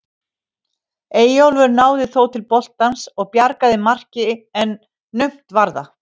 Eyjólfur náði þó til boltans og bjargaði marki en naumt var það.